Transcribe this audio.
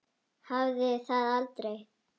Hafði það aldrei.